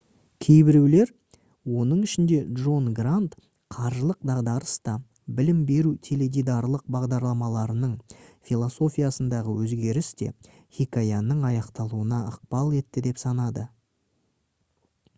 кейбіреулер оның ішінде джон грант қаржылық дағдарыс та білім беру теледидарлық бағдарламаларының философиясындағы өзгеріс те хикаяның аяқталуына ықпал етті деп санайды